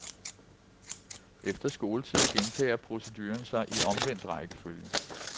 Efter skoletid gentager proceduren sig i omvendt rækkefølge.